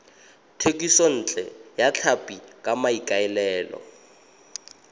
thekisontle ya tlhapi ka maikaelelo